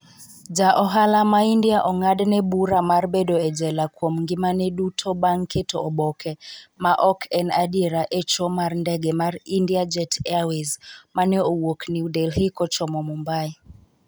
Ja ohala ma India ong'adne bura mar bedo e jela kuom ngimane duto bang' keto oboke ma ok en adiera e cho mar ndege mar India-Jet Airways mane wuok New Delhi kochomo Mumbai.